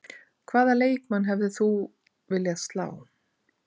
Hvaða leikmann hefðir þú viljað slá?